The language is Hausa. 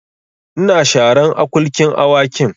Ina sharan akulkin Awakin